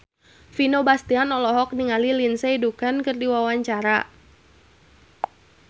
Vino Bastian olohok ningali Lindsay Ducan keur diwawancara